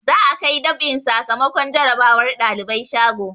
Za'a kai dab'in sakamakon jarabawar ɗalibai shago.